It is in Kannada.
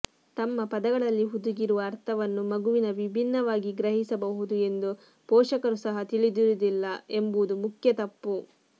ತಮ್ಮ ಪದಗಳಲ್ಲಿ ಹುದುಗಿರುವ ಅರ್ಥವನ್ನು ಮಗುವಿನ ವಿಭಿನ್ನವಾಗಿ ಗ್ರಹಿಸಬಹುದು ಎಂದು ಪೋಷಕರು ಸಹ ತಿಳಿದಿರುವುದಿಲ್ಲ ಎಂಬುದು ಮುಖ್ಯ ತಪ್ಪು